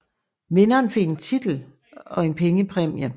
Vinderen fik en titel og en pengepræmie